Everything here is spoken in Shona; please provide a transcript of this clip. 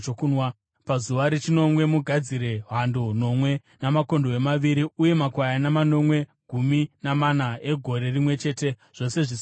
“ ‘Pazuva rechinomwe, mugadzire hando nomwe, makondobwe maviri uye makwayana makono gumi namana egore rimwe chete, zvose zvisina kuremara.